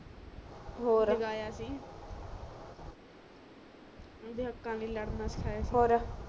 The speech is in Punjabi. ਔਰ ਜਗਾਯਾ ਸੀ ਓਦੋ ਹੱਕਾਂ ਲੀਯੇ ਲੜਨਾ ਸਿਖਾਯਾ ਸੀ ਔਰ